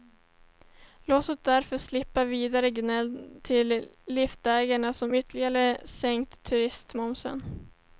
Låt oss därför slippa vidare gnäll från liftägarna om ytterligare sänkt turistmoms.